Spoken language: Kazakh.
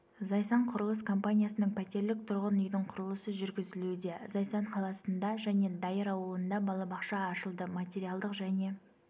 зайсан құрылыс компаниясының пәтерлік тұрғын үйдің құрылысы жүргізілуде зайсан қаласында және дайыр ауылында балабақша ашылды материалдық және